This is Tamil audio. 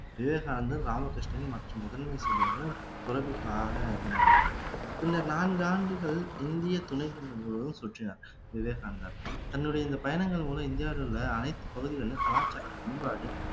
விவேகானந்தர் ராமகிருஷ்ணன் மற்றும் முதன்மை செயலர்கள் துறவிகளாக இருந்தாங்க பின்னர் நான்கு ஆண்டுகள் இந்திய துணைக்கண்டம் முழுவதும் சுற்றினார் விவேகானந்தர் தன்னுடைய இந்த பயணங்கள் மூலம் இந்தியாவில் உள்ள அனைத்து பகுதிகள்ல கலாச்சாரம் பண்பாடு